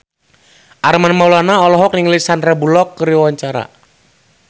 Armand Maulana olohok ningali Sandar Bullock keur diwawancara